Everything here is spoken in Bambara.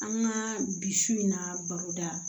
An ka bi su in na baroda